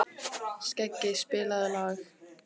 Skeggi, spilaðu lag.